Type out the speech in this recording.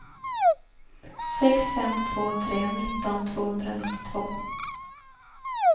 sex fem två tre nitton tvåhundranittiotvå